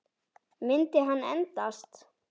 Myndi hann endast?